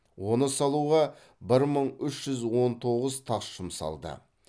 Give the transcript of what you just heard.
оны салуға бір мың үш жүз он тоғыз тас жұмсалды